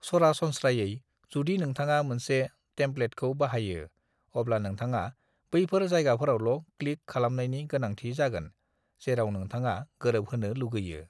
"सरासनस्रायै, जुदि नोंथाङा मोनसे टेम्पलेटखौ बाहायो, अब्ला नोंथाङा बैफोर जायगाफोरावल' क्लिक खालामनायनि गोनांथि जागोन जेराव नोंथाङा गोरोबहोनो लुगैयो।"